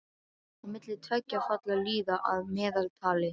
Á milli tveggja falla líða að meðaltali